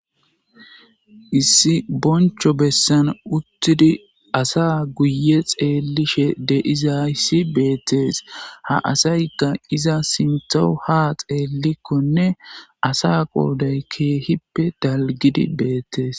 issi boncho bessan uttidi asa guye xeellishe deiza ssi beettees ha asaykka iza sintho ha xeellikkonne asa qooday keehippe dalgidi beettees